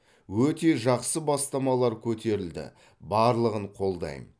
өте жақсы бастамалар көтерілді барлығын қолдаймын